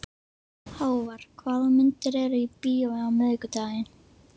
Hávar, hvaða myndir eru í bíó á miðvikudaginn?